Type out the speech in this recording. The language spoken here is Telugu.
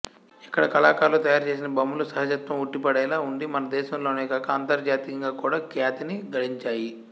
ఇక్కడి కళాకారులు తయారుచేసిన బొమ్మలు సహజత్వం ఉట్టిపడేలా ఉండి మనదేశంలోనే కాక అంతర్జాతీయంగా కూడా ఖ్యాతిని గడించాయి